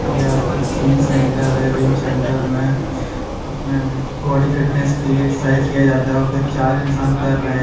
यह एक gym centre है जिम सेंटर में अपने बॉडी फिटनेस के लिए एक्सरसाइज किया जाता है और कोई चार इंसान कर रहे हैं।